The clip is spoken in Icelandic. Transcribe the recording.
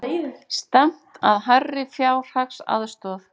Stefnt að hærri fjárhagsaðstoð